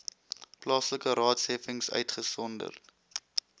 plaaslike raadsheffings uitgesonderd